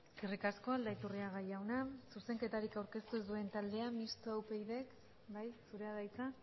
eskerrik asko aldaiturriaga jauna zuzenketarik aurkeztu ez duen taldea mistoa upyd bai zurea da hitza